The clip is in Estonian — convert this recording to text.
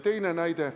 Teine näide.